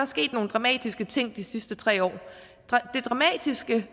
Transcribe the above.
sket nogle dramatiske ting de sidste tre år det dramatiske